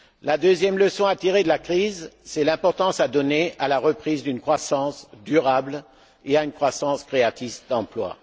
La deuxième leçon à tirer de la crise, c'est l'importance à donner à la reprise d'une croissance durable et à une croissance créatrice d'emplois.